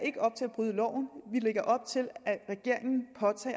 bryde loven vi lægger op til